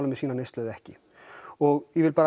með sína neyslu eða ekki og ég vil